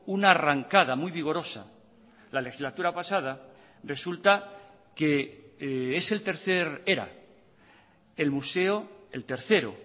una arrancada muy vigorosa la legislatura pasada resulta que es el tercer era el museo el tercero